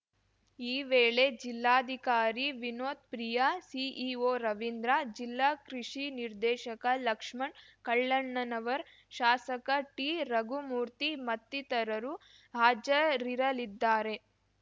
ಈ ವೇಳೆ ಜಿಲ್ಲಾಧಿಕಾರಿ ವಿನೋತ್‌ ಪ್ರಿಯಾ ಸಿಇಒ ರವಿಂದ್ರ ಜಿಲ್ಲಾ ಕೃಷಿ ನಿರ್ದೇಶಕ ಲಕ್ಷ್ಮಣ್‌ ಕಳ್ಳಣನವರ್ ಶಾಸಕ ಟಿರಘುಮೂರ್ತಿ ಮತ್ತಿತರರು ಹಾಜರಿರಲಿದ್ದಾರೆ